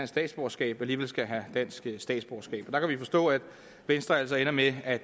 statsborgerskab alligevel skal have dansk statsborgerskab og der kan vi forstå at venstre altså ender med at